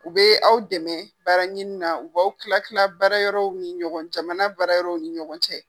U be aw dɛmɛ baara ɲini na , u b'aw kila kila baara yɔrɔw ni ɲɔgɔn cɛ, jamana baara yɔrɔ w ni ɲɔgɔn cɛ.